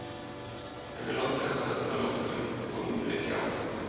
En mig langaði bara til að láta Gunnhildi fá númerið hjá